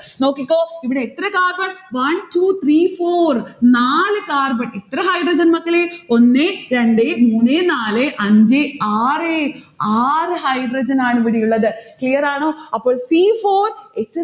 നോക്കിക്കോ ഇവിടെ എത്ര carbon? one two three four നാല് carbon എത്ര hydrogen മക്കളെ, ഒന്നേ രണ്ടേ മൂന്നേ നാലേ അഞ്ചേ ആറേ, ആറ് hydrogen ആണ് ഇവിടെ ഉള്ളത്. clear ആണോ? അപ്പോൾ c four h